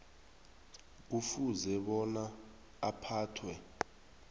kufuze bona aphathwe